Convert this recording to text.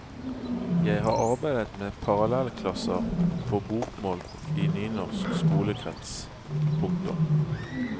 Jeg har arbeidet med parallellklasser på bokmål i nynorsk skolekrets. punktum